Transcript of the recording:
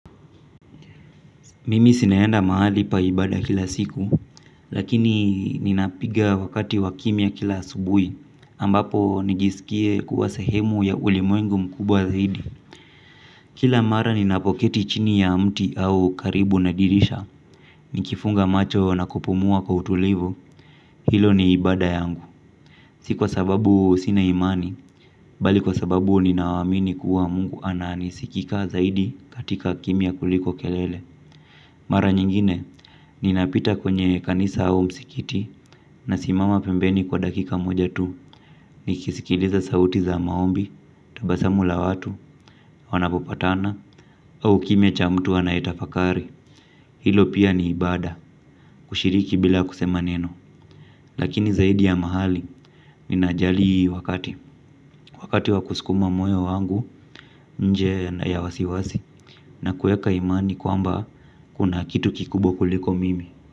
Mimi sinaenda mahali pa ibada kila siku, lakini ninapiga wakati wakimya kila asubui, ambapo nijisikie kuwa sehemu ya ulimwengu mkubwa zaidi. Kila mara ninapoketi chini ya mti au karibu na dirisha, nikifunga macho na kupumua kwa utulivu, hilo ni ibada yangu. Si kwa sababu sina imani, bali kwa sababu ninawamini kuwa mungu ananisikika zaidi katika kimya kuliko kelele. Mara nyingine ninapita kwenye kanisa au msikiti nasimama pembeni kwa dakika moja tu nikisikiliza sauti za maombi, tabasamu la watu, wanapopatana au kimya cha mtu anayetafakari. Hilo pia ni ibada kushiriki bila kusema neno. Lakini zaidi ya mahali ninajali wakati. Wakati wakuskuma moyo wangu nje na ya wasiwasi na kueka imani kwamba kuna kitu kikubwa kuliko mimi.